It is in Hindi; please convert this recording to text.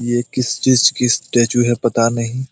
यह किस चीज की स्टैचू है? पता नहीं